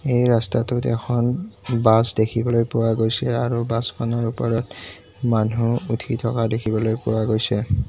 এই ৰাস্তাটোত এখন বাছ দেখিবলৈ পোৱা গৈছে আৰু বাছখনৰ ওপৰত মানুহ উঠি থকা দেখিবলৈ পোৱা গৈছে।